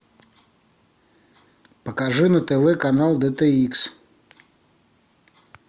покажи на тв канал дт икс